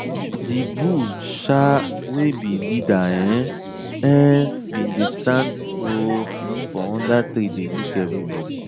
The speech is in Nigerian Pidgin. the bull um wey be leader um um bin dey stand um for under tree dey look everybody